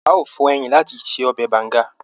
A o fọ ẹyìn láti ṣe ọbẹ Banga.